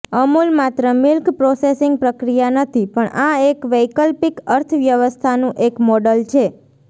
અમુલ માત્ર milk processing પ્રક્રિયા નથી પણ આ એક વૈકલ્પિક અર્થવ્યવસ્થાનું એક મોડલ છે